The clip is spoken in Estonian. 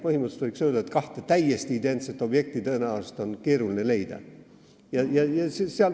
Põhimõtteliselt võiks öelda, et kahte täiesti identset objekti on tõenäoliselt keeruline leida.